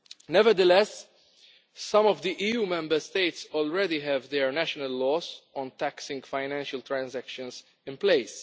Nevertheless, some EU Member States already have their national laws on taxing financial transactions in place.